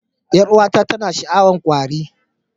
Yar'uwata tana sha'awar kwari